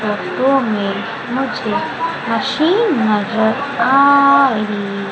लट्टो में मुझे मशीन नजर आ रही--